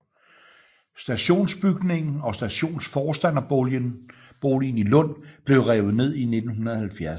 Stationsbygningen og stationsforstanderboligen i Lund blev revet ned i 1970